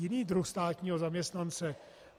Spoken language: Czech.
Jiný druh státního zaměstnance.